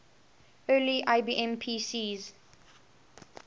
early ibm pcs